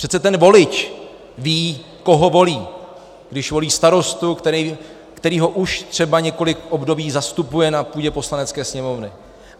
Přece ten volič ví, koho volí, když volí starostu, který ho už třeba několik období zastupuje na půdě Poslanecké sněmovny.